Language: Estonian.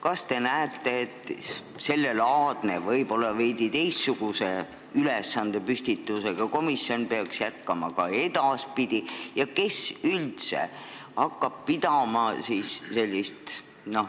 Kas te näete, et sellelaadne, võib-olla veidi teistsuguse ülesandepüstitusega komisjon peaks jätkama ka edaspidi?